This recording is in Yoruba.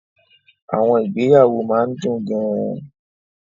Àwọn ìgbéyàwó máa ń dùn gan-an.